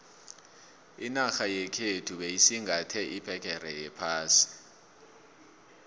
inarha yekhethu beyisingathe iphegere yephasi